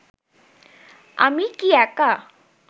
আমি কি একা